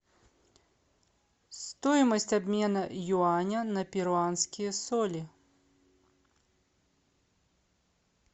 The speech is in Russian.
стоимость обмена юаня на перуанские соли